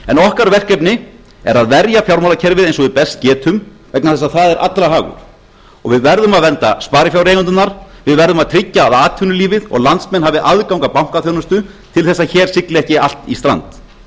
en okkar verkefni er að verja fjármálakerfið eins og við best getum vegna þess að það er allra hagur og við verðum að vernda sparifjáreigendurna við verðum að tryggja að atvinnulífið og landsmenn hafi aðgang að bankaþjónustu til þess að hér sigli ekki allt í strand